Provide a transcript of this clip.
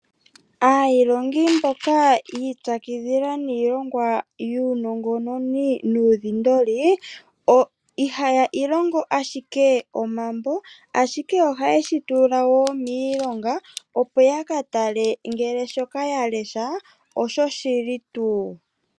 Aayilongi mboka yi ipyakidhila niilongwa yuu nongononi nuudhindoli ihayii longo ashike omambo, ashike ohaye shitula wo miilonga, opo yaka tale ngele shoka ya lesha osho shili tuu.